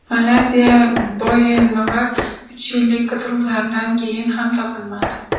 Malayziya Boeing‘i uch yillik qidiruvlardan keyin ham topilmadi.